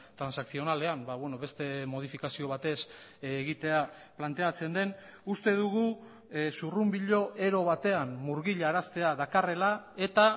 transakzionalean beste modifikazio batez egitea planteatzen den uste dugu zurrunbilo ero batean murgilaraztea dakarrela eta